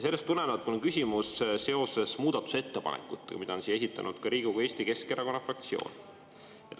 Sellest tulenevalt on mul küsimus seoses muudatusettepanekutega, mille on esitanud ka Riigikogu Eesti Keskerakonna fraktsioon.